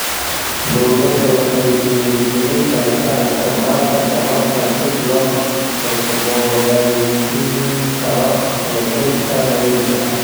Dawladdu waxay dhiirigelin kartaa isticmaalka tamarta dib loo cusboonaysiin karo ee dhulka miyiga ah.